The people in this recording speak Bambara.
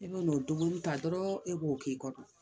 E bɛ n'o dumuni ta dɔrɔn e b'o k'i kɔnɔ